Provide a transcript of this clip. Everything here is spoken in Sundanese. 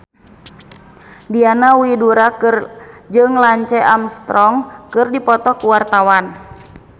Diana Widoera jeung Lance Armstrong keur dipoto ku wartawan